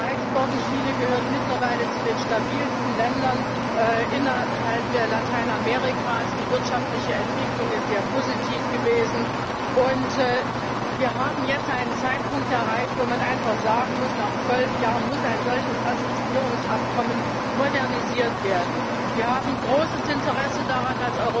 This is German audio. Es ist viel erreicht worden Chile gehört mittlerweile zu den stabilsten Ländern in Lateinamerika. Die wirtschaftliche Entwicklung ist sehr positiv gewesen, und wir haben jetzt einen Zeitpunkt erreicht, wo man einfach sagen muss Nach zwölf Jahren muss ein solches Assoziierungsabkommen modernisiert werden. Wir als Europäische Union haben großes Interesse daran,